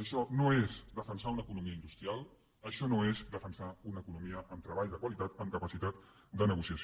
això no és defensar una economia industrial això no és defensar una economia amb treball de qualitat amb capacitat de negociació